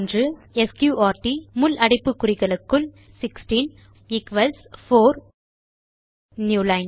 sqrt 16 முள் அடைப்பு குறிகளுக்குள் ஈக்வல்ஸ் 4 நியூ லைன்